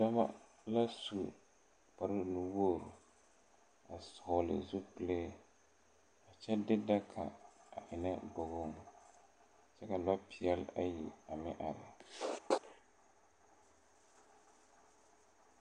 Dɔba la su kpare nu wogre a vɔgle zupile kyɛ de daga a eŋnɛ bogoŋ kyɛ ka lɔ peɛl ayi a meŋ are.